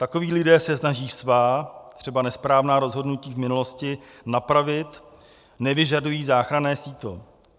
Takoví lidé se snaží svá, třeba nesprávná, rozhodnutí v minulosti napravit, nevyžadují záchranné sítě.